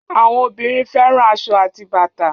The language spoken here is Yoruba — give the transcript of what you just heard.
Àwọn obìnrin fẹ́ràn aṣọ àti bàtà